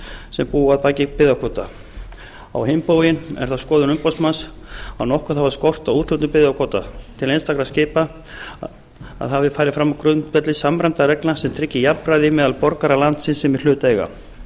sem búa að baki byggðakvóta á hinn bóginn er það skoðun umboðsmanns að nokkuð hafi skort á að úthlutun byggðakvóta til einstakra skipa hafi farið fram á grundvelli samræmdra reglna sem tryggi jafnræði meðal borgara landsins sem í hlut eiga